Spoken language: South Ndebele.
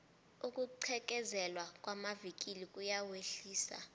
ukugqekezelwa kwamavikili kuyawehlisa